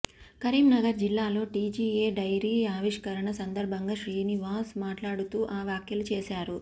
కరీంనగర్ జిల్లాలో TGA diary ఆవిష్కరణ సందర్భంగా శ్రీనివాస్ మాట్లాడుతూ ఆ వ్యాఖ్యలు చేశారు